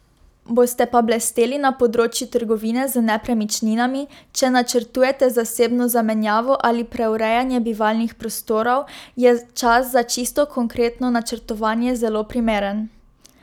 Boste pa blesteli na področju trgovine z nepremičninami, če načrtujete zasebno zamenjavo ali preurejanje bivalnih prostorov, je čas za čisto konkretno načrtovanje zelo primeren.